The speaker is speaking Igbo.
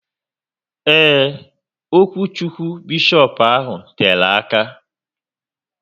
Eee, okwuchukwu beshopu ahụ tere aka